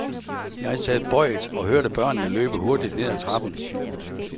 Jeg sad bøjet og hørte børnene løbe hurtigt ned ad trappen.